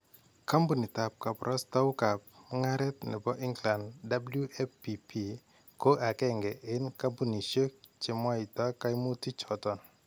Kampuniitab kabarastaukab mung'areet nebo England WPP ko agenge en kampunisyeek chemwayta kaimutik choton